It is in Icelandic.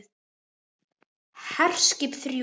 HERSKIP ÞRJÚ